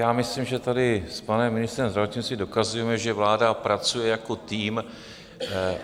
Já myslím, že tady s panem ministrem zdravotnictví dokazujeme, že vláda pracuje jako tým.